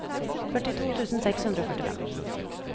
førtito tusen seks hundre og førtifem